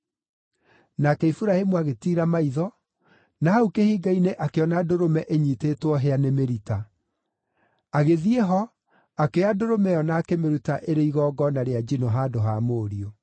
Nake Iburahĩmu agĩtiira maitho, na hau kĩhinga-inĩ akĩona ndũrũme ĩnyiitĩtwo hĩa nĩ mĩrita. Agĩthiĩ ho, akĩoya ndũrũme ĩyo na akĩmĩruta ĩrĩ igongona rĩa njino handũ ha mũriũ.